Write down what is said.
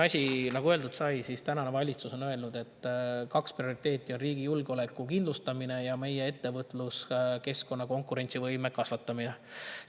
" Nagu öeldud sai, valitsus on öelnud, et on kaks prioriteeti: riigi julgeoleku kindlustamine ja meie ettevõtluskeskkonnas konkurentsivõime kasvatamine.